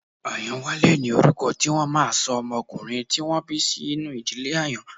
Ayanwale ni orúkọ tí wọ́n máà ń ṣọ ọmọkùnrin tí wọ́n bí sínú ìdílé Àyàn.